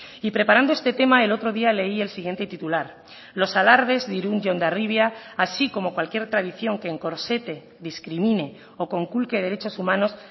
y preparando este tema el otro día leí el siguiente titular los alardes de irún y hondarribia así como cualquier tradición que encorsete discrimine o conculque derechos humanos